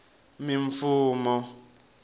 mimfumo